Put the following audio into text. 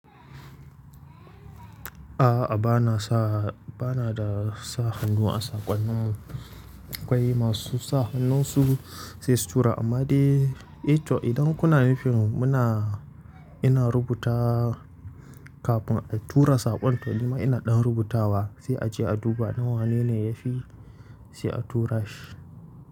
A'a, ba na sa, ba na da sa hannu a saƙonninmu. Kwai masu sa hannun su sai su tura amma dai, eh to idan kuna nufin muna, ina rubuta kafin a tura saƙon to nima ina ɗan rubutawa sai a je a duba ɗin wane ne ya fi sai a tura shi.